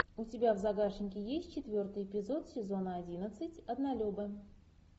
у тебя в загашнике есть четвертый эпизод сезона одиннадцать однолюбы